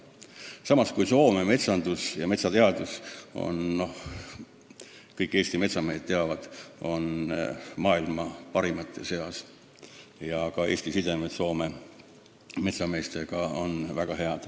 Samas kõik Eesti metsamehed teavad, et Soome metsandus ja metsateadus on maailma parimate seas, ja Eesti inimeste sidemed Soome metsameestega on väga head.